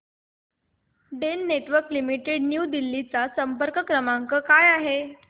Den Networks Limited New Delhi चा संपर्क क्रमांक काय आहे